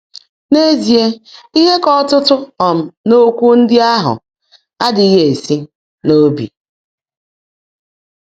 N’ézíe, íhe kà ọ́tụ́tụ́ um n’ókwụ́ ndị́ áhú́ ádị́ghị́ èsi n’óbi.